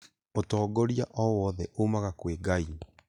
ũtongoria owothe umaga kwĩ Ngai